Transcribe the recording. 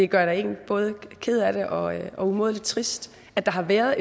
gør en både ked af det og umådelig trist at der har været